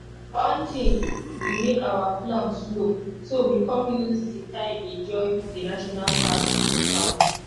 one tin be make our plan slow so we come use di time enjoy di national park lookout.